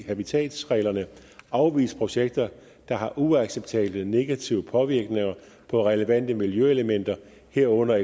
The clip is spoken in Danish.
habitatreglerne afvise projekter der har uacceptable negative påvirkninger på relevante miljøelementer herunder